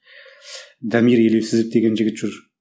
дамир елеусізов деген жігіт жүр